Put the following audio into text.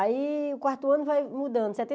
Aí o quarto ano vai mudando. Setenta